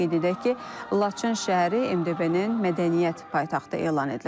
Qeyd edək ki, Laçın şəhəri MDB-nin mədəniyyət paytaxtı elan edilib.